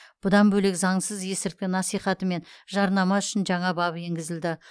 бұдан бөлек заңсыз есірткі насихаты мен жарнама үшін жаңа бап енгізілді